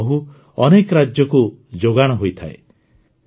ତାଙ୍କର ମହୁ ଅନେକ ରାଜ୍ୟକୁ ଯୋଗାଣ ହୋଇଥାଏ